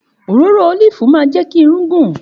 Òròrò olifi mà jẹ ki ìrún gùn